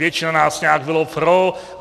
Většina nás nějak bylo pro.